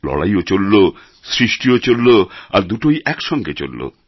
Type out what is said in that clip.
লড়াইও চলল সৃষ্টিও চলল আর দুটোই একসঙ্গে চলল